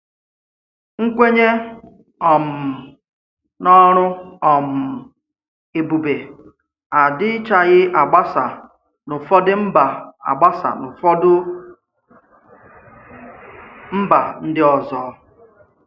Nkwènyè um n’ọrụ um ebùbé adìchàghì agbàsa n’ụ̀fọdụ mba agbàsa n’ụ̀fọdụ mba ndị ọzọ.